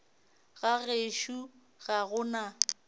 ga gešo ga go na